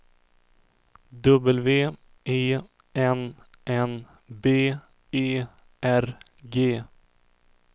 W E N N B E R G